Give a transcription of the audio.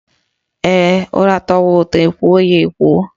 Ee, ụra tọwa ụtọ, ekwoo ya ekwoo